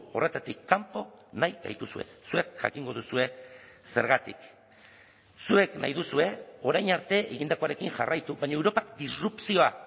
horretatik kanpo nahi gaituzue zuek jakingo duzue zergatik zuek nahi duzue orain arte egindakoarekin jarraitu baina europak disrupzioa